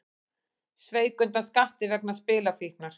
Sveik undan skatti vegna spilafíknar